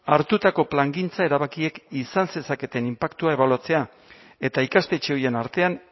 hartutako plangintza erabakiek izan zezaketen inpaktua ebaluatzea eta ikastetxe horien artean